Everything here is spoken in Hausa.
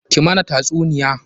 Ki mana tasuniya!